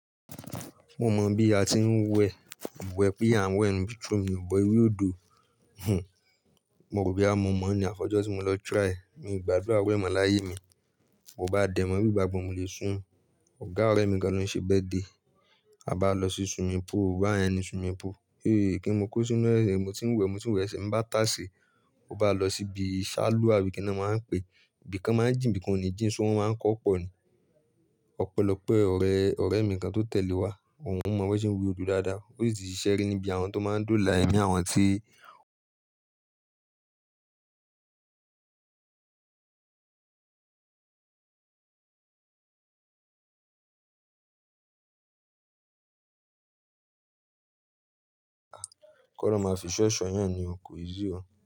Mo mọ bí a ti ń wẹ̀, wẹ̀ bí à ń wẹ̀ inú bathroom, wẹ̀ ewé odò, hun, mo rò bóyá mo mọ̀ ní àfi ojó tí mo lọ try, mi ò gbàdúrà irú è mọ̀ láyé mi, mo bá dẹ̀mọ́ wí gbagbọ̀ mo lè sún, ọ̀gá ọ̀rẹ́ mi kan ló ń ṣe birthday, a bá lọ sí swimming pool, ọ̀gá ẹni swimming pool, heyyy kí n mo kó sínú ẹsẹ̀, mo ti ń wẹ̀, mo ti ń wẹ̀ ẹsẹ̀ ń bá tà sé, mo bá lọ síbi ṣálú àwí kí ni wọ́n máa ń pè é, ibi kan máa ń jìn, ibi kan ò ní jìn, ṣó wọn máa ń kọ́ ọ̀ pọ̀ ni, ọpélopé ọ̀rẹ́, ọ̀rẹ́ mi kan tó tẹ̀lé wa, òun mọ bí wọ́n ṣe ń wé odò dáadáa, ó sì ti ṣisé níbi àwọn tó máa ń doola èmi àwọn tí, kọ máa fi ìsó è só eèyàn ni o, ko easy o.